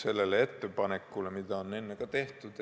Seda ettepanekut on enne ka tehtud.